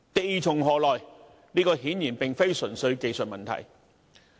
地從何來，顯然並非純粹技術問題。